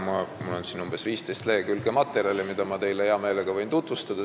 Mul on siin selles küsimuses umbes 15 lehekülge materjale, mida ma võin hea meelega tutvustada.